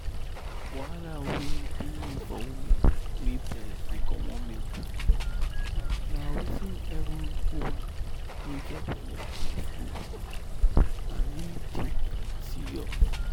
wahala wey dey for woman wey breast dey comot milk na wetin every woman wey get belle must know and really take serious.